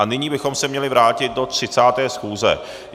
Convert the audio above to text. A nyní bychom se měli vrátit do 30. schůze.